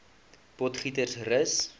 potgietersrus